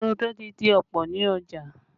Rodo ti di ọ̀pọ̀ ní ọjà